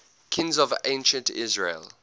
kings of ancient israel